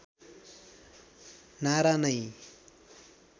नारा नै